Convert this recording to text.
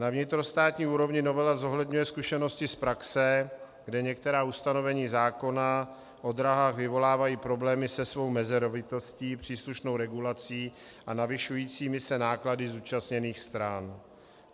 Na vnitrostátní úrovni novela zohledňuje zkušenosti z praxe, kde některá ustanovení zákona o dráhách vyvolávají problémy se svou mezerovitostí, příslušnou regulací a navyšujícími se náklady zúčastněných stran.